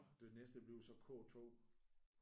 Og det næste det bliver så K2